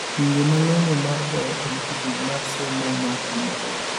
Winjo malong'o mar ber initiative mar somo mar kuma bor.